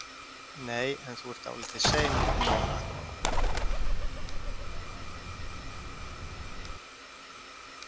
Heimir: Nei en þú ert dálítið sein núna?